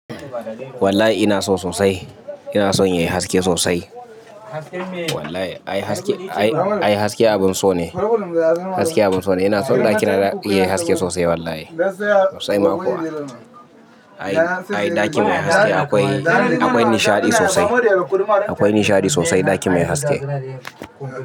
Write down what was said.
Wallahi ina so sosai, ina son yayi haske sosai. Wallahi ai haske, ai haske abin so ne. Haske abin so ne. Ina so ɗakina yayi haske sosai wallahi. Sosai ma kuwa. Ai, ai ɗaki mai haske akwai, akwai nishaɗi sosai. Akwai nishaɗi sosai ɗaki mai haske.